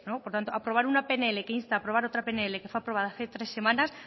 por tanto aprobar una pnl que insta a aprobar otra pnl que fue aprobada hace tres semanas